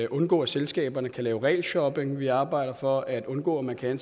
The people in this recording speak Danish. undgå at selskaberne kan lave regelshopping vi arbejder for at undgå at man kan